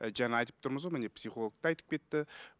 і жаңа айтып тұрмыз ғой міне психолог та айтып кетті